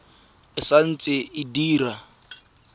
e sa ntse e dira